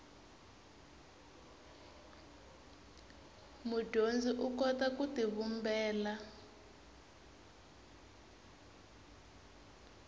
mudyondzi u kota ku tivumbela